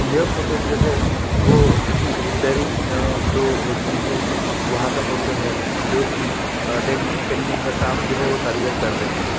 यह फोटो जो है वो किसी रिपेरिंग जो होती है वहा का फोटो है जो कि डेंटिंग पेंडिंग का काम जो है वो कर रहें हैं।